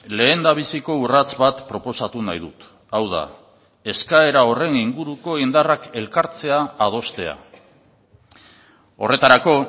lehendabiziko urrats bat proposatu nahi dut hau da eskaera horren inguruko indarrak elkartzea adostea horretarako